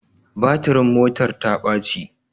Batirin motar ta baci